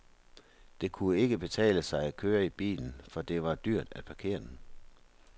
Det kunne ikke betale sig at køre i bilen, for det var dyrt at parkere den.